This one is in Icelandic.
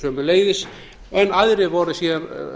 sömuleiðis en aðrir voru síðan